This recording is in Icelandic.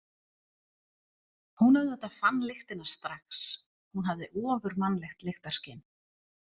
Hún auðvitað fann lyktina strax, hún hafði ofurmannlegt lyktarskyn.